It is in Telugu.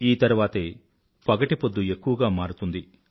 ఈ తర్వాతే పగటి పొద్దు ఎక్కువగా మారుతుంది